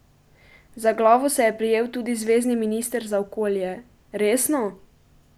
Za glavo se je prijel tudi zvezni minister za okolje: "Resno?